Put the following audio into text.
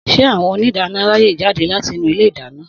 Sé awõn òníìdánõ ráyè jádè latí ìnú ìlé ìdáñõ?